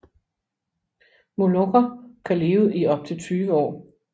Molokker kan leve i op til 20 år